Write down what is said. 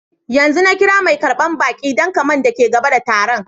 Yanzu na kira mai karban baki dan kaman daki gaba da tarun.